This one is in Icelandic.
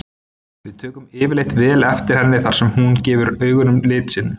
Við tökum yfirleitt vel eftir henni þar sem hún gefur augunum lit sinn.